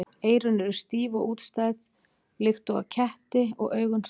Eyrun eru stíf og útstæð líkt og á ketti og augun stór.